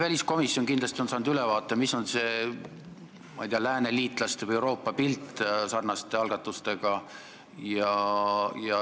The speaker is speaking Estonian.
Väliskomisjon on kindlasti saanud ülevaate, milline on, ma ei tea, pilt sarnaste algatuste tegemisel lääneliitlaste seas või Euroopas.